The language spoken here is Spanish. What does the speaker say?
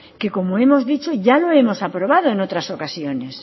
que como hemos dicho ya lo hemos aprobado en otras ocasiones